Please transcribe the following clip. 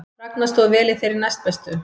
Ragna stóð vel í þeirri næstbestu